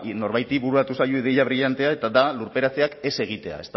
norbaiti bururatu zaio ideia brillantea eta da lurperatzeak ez egitea